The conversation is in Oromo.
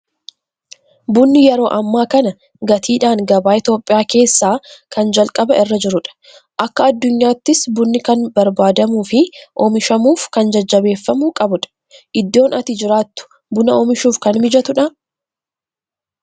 Bunni yeroo ammaa kana gatiidhaan gabaa Itoophiyaa keessaa kan jalqaba irra jirudha. Akka addunyaattis bunni kan barbaadamuu fi oomishamuuf kan jajjabeeffamuu qabudha. Iddoon ati jiraatuu buna oomishuuf kan mijatu dhaa?